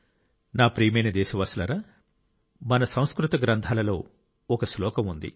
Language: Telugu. నా ప్రియమైన దేశవాసులారా మన సంస్కృత గ్రంథాలలో ఒక శ్లోకం ఉంది